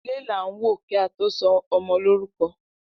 Ilẹ lan wo ki a to so ọmọ lorukọ.